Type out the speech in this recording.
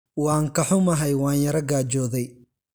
Waan ka xumahay, waan yara gaajooday.